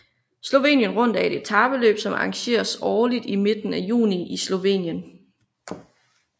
Slovenien Rundt er et etapeløb som arrangeres årligt i midten af juni i Slovenien